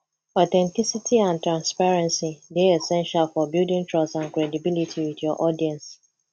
authenticity and transparency dey essential for building trust and credibility with your audience